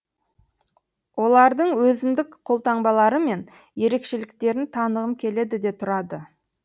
олардыңөзіндік қолтаңбалары мен ерекшеліктерін танығым келеді де тұрады